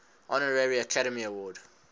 honorary academy award